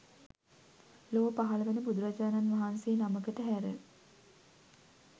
ලොව පහළ වන බුදුරජාණන් වහන්සේ නමකට හැර